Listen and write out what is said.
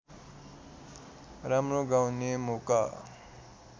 राम्रो गाउने मौका